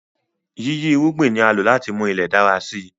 Yíyí irúgbìn ni a lò láti mú Ilẹ̀ dára si